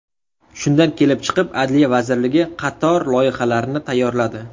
Shundan kelib chiqib, Adliya vazirligi qator loyihalarni tayyorladi.